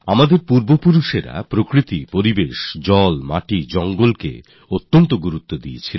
আমাদের পূর্বজরা প্রকৃতিকে পরিবেশকে জলকে জমিকে জঙ্গলকে অনেক গুরুত্ব দিয়েছেন